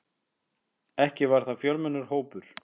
Ekki var það fjölmennur hópur.